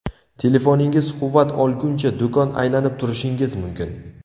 Telefoningiz quvvat olguncha, do‘kon aylanib turishingiz mumkin.